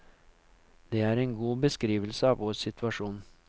Det er en god beskrivelse av vår situasjon.